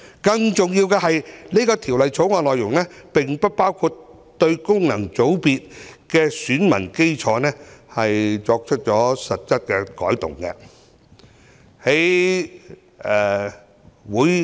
更重要的是，《條例草案》的內容並不包括對功能界別的選民基礎作出實質的改動。